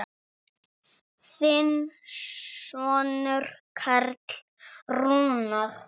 Þinn sonur Karl Rúnar.